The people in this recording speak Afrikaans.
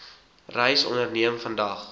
reis onderneem vandag